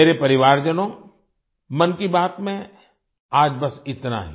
मेरे परिवारजनों मन की बात में आज बस इतना ही